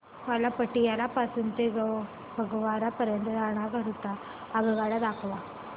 मला पटियाला पासून ते फगवारा पर्यंत जाण्या करीता आगगाड्या दाखवा